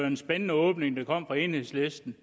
en spændende åbning der kom fra enhedslisten